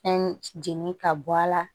Fɛn jeni ka bɔ a la